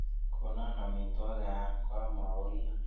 Kono amitwogik aam komauryo.